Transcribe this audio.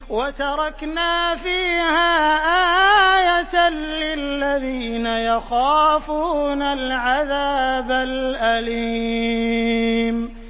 وَتَرَكْنَا فِيهَا آيَةً لِّلَّذِينَ يَخَافُونَ الْعَذَابَ الْأَلِيمَ